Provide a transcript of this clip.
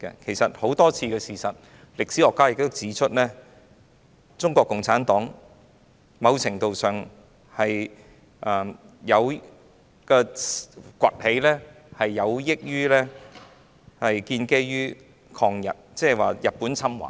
事實上，根據眾多事實及歷史學家所指出，中國共產黨的掘起在某程度上是建基於抗日，即日本侵華。